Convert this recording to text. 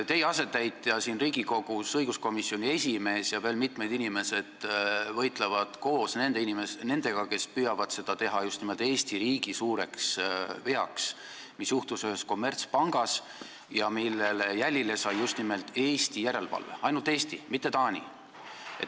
Teie asetäitja siin Riigikogus, õiguskomisjoni esimees, ja mitmed inimesed võitlevad koos nendega, kes püüavad seda teha just nimelt Eesti riigi suureks veaks, mis juhtus ühes kommertspangas ja millele jälile sai just nimelt Eesti järelevalve – ainult Eesti, mitte Taani.